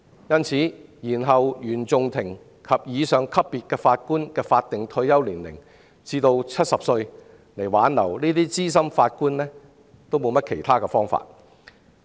因此，延後原訟法庭及以上級別法官的法定退休年齡至70歲，以挽留這些資深法官是別無他法。